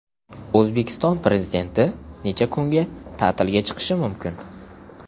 O‘zbekiston Prezidenti necha kunga ta’tilga chiqishi mumkin?.